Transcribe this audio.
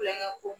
Kulonkɛ ko